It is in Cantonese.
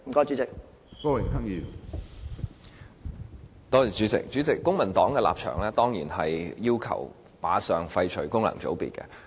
主席，公民黨的立場當然是要求立即廢除功能界別。